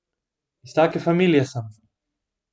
Iz take familije sem.